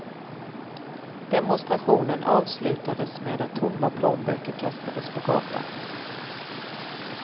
Demonstrationen avslutades med att tomma plånböcker kastades på gatan.